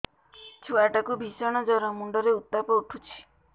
ଛୁଆ ଟା କୁ ଭିଷଣ ଜର ମୁଣ୍ଡ ରେ ଉତ୍ତାପ ଉଠୁଛି